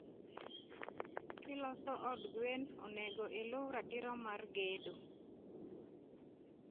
kilos od gwn, onego iluu ratiro mar gedo